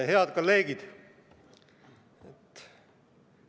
Head kolleegid!